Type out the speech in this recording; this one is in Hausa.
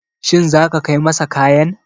Shin zaka kai masa kayan?